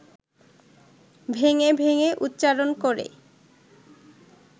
ভেঙে ভেঙে উচ্চারণ করে